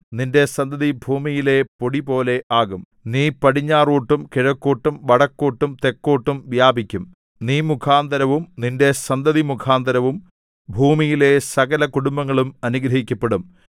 നിന്റെ സന്തതി ഭൂമിയിലെ പൊടിപോലെ ആകും നീ പടിഞ്ഞാറോട്ടും കിഴക്കോട്ടും വടക്കോട്ടും തെക്കോട്ടും വ്യാപിക്കും നീ മുഖാന്തരവും നിന്റെ സന്തതി മുഖാന്തരവും ഭൂമിയിലെ സകല കുടുംബങ്ങളും അനുഗ്രഹിക്കപ്പെടും